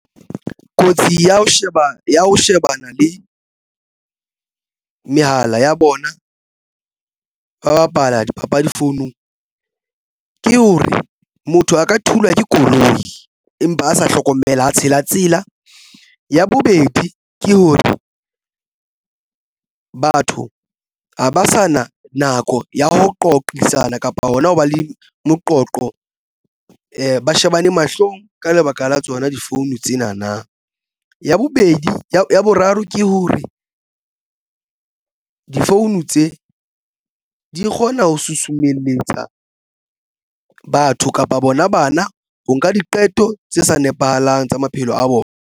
Kotsi ya ho sheba ya ho shebana le mehala ya bona ba bapala dipapadi founung ke hore motho a ka thulwa ke koloi empa a sa hlokomela a tshela tsela ya bobedi ke hore batho ha ba sa na nako ya ho qoqisana kapa hona ho ba le moqoqo ba shebane mahlong. Ka lebaka la tsona di-phone tsena na ya bobedi ya boraro ke hore di-phone tse di kgona ho susumelletsa batho kapa bona bana ho nka diqeto tse sa nepahalang tsa maphelo a bona.